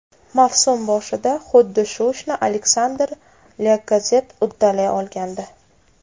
Mavsum boshida xuddi shu ishni Aleksandr Lyakazett uddalay olgandi.